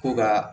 Ko ka